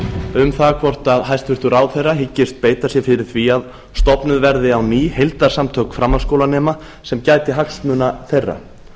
um það hvort hæstvirtur ráðherra hyggist beita sér fyrir því að stofnuð verði á ný heildarsamtök framhaldsskólanema sem gæti hagsmuna þeirra